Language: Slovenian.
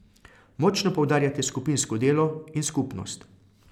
Močno poudarjate skupinsko delo in skupnost.